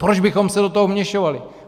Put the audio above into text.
Proč bychom se do toho vměšovali?